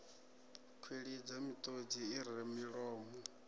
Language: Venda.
kwilidza miṱodzi i re milomo